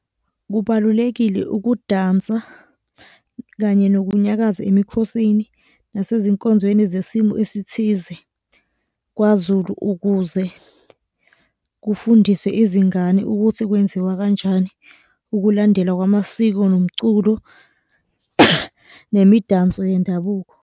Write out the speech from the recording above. Kubalulekile ukudansa kanye nokunyakaza emikhosini nasezinkonzweni zesimo esithize kwaZulu, ukuze kufundiswe izingane ukuthi kwenziwa kanjani ukulandelwa kwamasiko nomculo, nemidanso yendabuko.